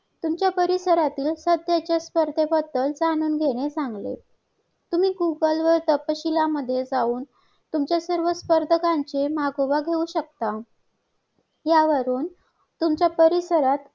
जसे की चीनमध्ये एक एक एक दामपत्तेमुळे योजनेमुळे आज त्यांच्याकडे जे